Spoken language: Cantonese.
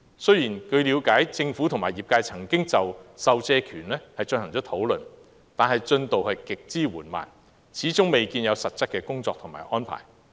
雖然據了解政府和業界曾經討論授借權，但進度極之緩慢，始終未見有實質的工作及安排。